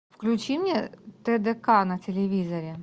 включи мне тдк на телевизоре